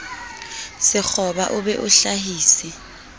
sekgoba o be o hlahise